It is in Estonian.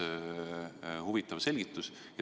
See oleks huvitav selgitus.